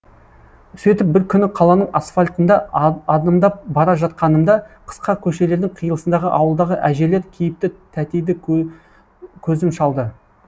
сөйтіп бір күні қаланың асфальтында адымдап бара жатқанымда қысқа көшелердің қиылысындағы ауылдағы әжелер кейіпті тәтейді көзім шалды